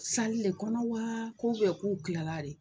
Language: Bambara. Sali le kɔnɔ wa ko ubiyɛn k'u kilala de